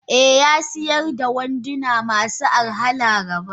Eh yasiyar da wanduna masu arha laraba.